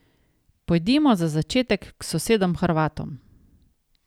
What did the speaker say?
Pojdimo za začetek k sosedom Hrvatom.